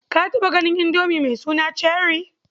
Ka taɓa ganin Indomi mai suna Cherrie?